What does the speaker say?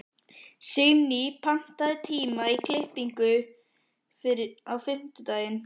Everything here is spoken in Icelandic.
Signý, pantaðu tíma í klippingu á fimmtudaginn.